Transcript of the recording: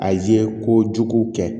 A ye ko jugu kɛ